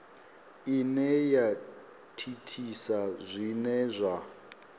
ine ya thithisa zwine zwa